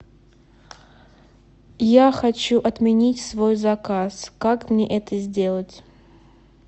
я хочу отменить свой заказ как мне это сделать